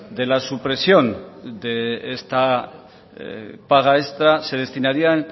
de la supresión de esta paga extra se destinarían